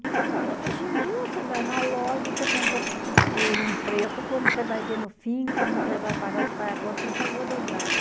Hoje em dia, você vai na loja, você compra por um preço, quando você vai ver no fim, quando você vai pagar, você faz a conta, você pagou dobrado.